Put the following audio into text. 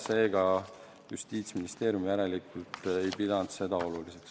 Seega Justiitsministeerium järelikult ei pidanud seda oluliseks.